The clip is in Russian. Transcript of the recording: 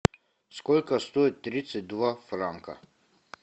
сколько стоит тридцать два франка